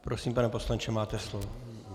Prosím, pane poslanče, máte slovo.